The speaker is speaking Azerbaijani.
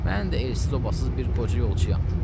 Mən də elsiz-obasız bir qoca yolçuyam.